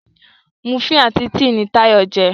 Múfìn àti tea ní Tayo jé.